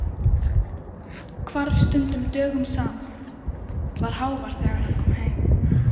Hvarf stundum dögum saman, var hávær þegar hann kom heim.